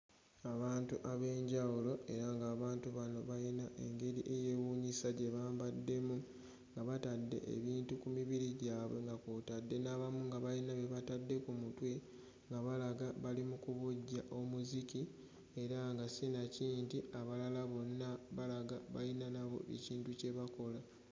Abantu ab'enjawulo era ng'abantu bano bayina engeri eyeewuunyisa gye bambaddemu nga batadde ebintu ku mibiri gyabwe nga kw'otadde n'abamu nga bayina bye batadde ku mutwe nga balaga bali mu kubojja omuziki era nga zinakindi abalala bonna balaga bayina nabo ekintu kye bakola.